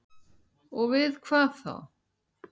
Og við hvað þá?